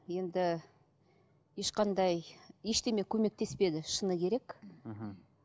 енді ешқандай ештеңе көмектеспеді шыны керек мхм